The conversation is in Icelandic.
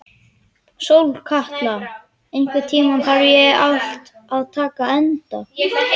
Sólkatla, einhvern tímann þarf allt að taka enda.